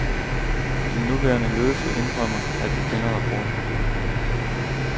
Den nuværende ledelse indrømmer, at de kender rapporten.